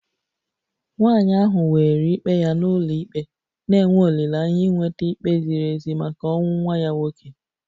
Nwanyị ahụ weere ikpe ya n'ụlọikpe na-enwe olileanya inweta ikpe ziri ezi maka ọnwụ nwa ya nwoke